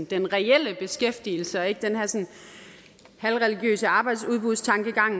den reelle beskæftigelse og ikke den her sådan halvreligiøse arbejdsudbudtankegang